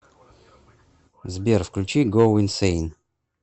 сбер включи гоу инсейн